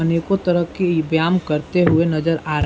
अनेकों तरह की इ व्यायाम करते हुए नजर आ --